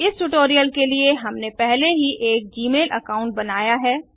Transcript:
इस ट्यूटोरियल के लिए हमने पहले ही एक जीमेल अकाउंट बनाया है